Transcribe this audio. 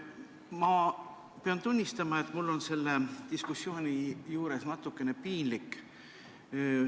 Ma pean tunnistama, et mul on selle diskussiooni juures natukene piinlik.